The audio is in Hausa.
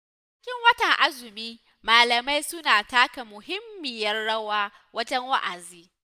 A cikin watan azumi malamai suna taka muhimmiyar rawa, wajen wa'azi.